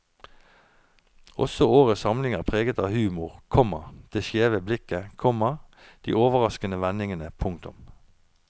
Også årets samling er preget av humor, komma det skjeve blikket, komma de overraskende vendingene. punktum